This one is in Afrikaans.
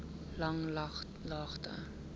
langlaagte